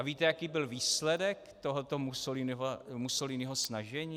A víte, jaký byl výsledek tohoto Mussoliniho snažení?